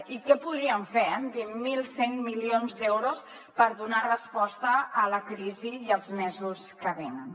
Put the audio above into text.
i què podríem fer amb vint mil cent milions d’euros per donar resposta a la crisi i els mesos que venen